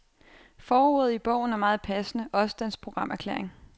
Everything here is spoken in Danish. Forordet i bogen er meget passende også dens programerklæring.